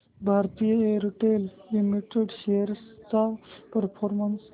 Bharti Airtel limited shares चा performance